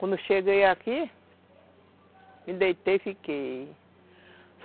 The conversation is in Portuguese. Quando eu cheguei aqui, me deitei e fiquei.